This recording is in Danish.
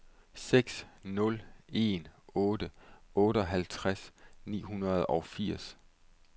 seks nul en otte otteoghalvtreds ni hundrede og firs